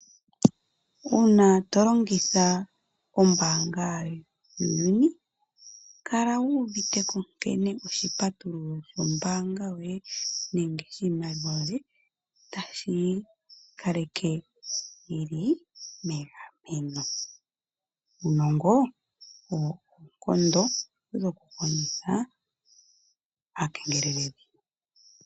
Uuna tolongitha ombaanga yuuyuni, kala wu uviteko nkene oshipatululo shombaanga yoye nenge shiimaliwa yoye tashi yi kaleke yili megameno. Uunongo owo oonkondo dhokukondjitha aakengeleledhi.